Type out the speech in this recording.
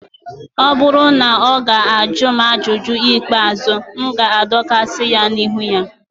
ọ bụrụ na ọ ga-ajụ m ajụjụ ikpeazụ, m ga-adọkasị ya n'ihu ha